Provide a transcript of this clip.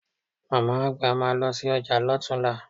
Màmá-àgbà máa lọ sí ọjà lọ́tunla